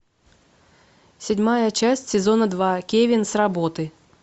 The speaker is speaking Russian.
седьмая часть сезона два кевин с работы